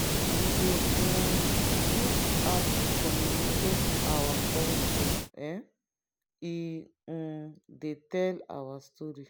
we dey um use art to communicate our culture; um e um dey tell our story.